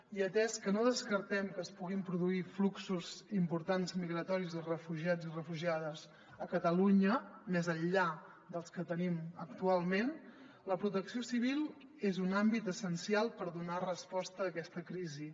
i atès que no descartem que es puguin produir fluxos importants migratoris de refugiats i refugiades a catalunya més enllà dels que tenim actualment la protecció civil és un àmbit essencial per donar resposta a aquesta crisi